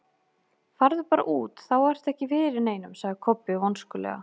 Farðu bara út, þá ertu ekki fyrir neinum, sagði Kobbi vonskulega.